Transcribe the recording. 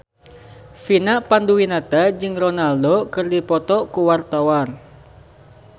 Vina Panduwinata jeung Ronaldo keur dipoto ku wartawan